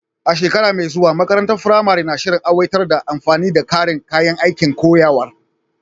A shekara mai zuwa, makarantar firamare na shirin aiwatar da amfani da ƙarin kayan aikin koyarwa.